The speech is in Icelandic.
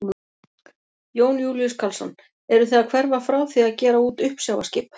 Jón Júlíus Karlsson: Eruð þið að hverfa frá því að gera út uppsjávarskip?